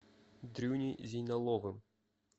дрюней зейналовым